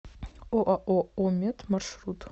оао оммет маршрут